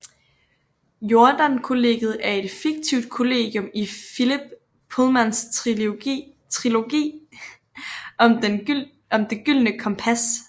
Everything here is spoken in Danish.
Jordan Kollegiet er et fiktivt kollegium i Philip Pullmans trilogi om Det Gyldne Kompas